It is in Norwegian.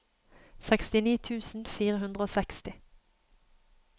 sekstini tusen fire hundre og seksti